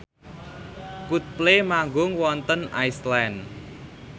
Coldplay manggung wonten Iceland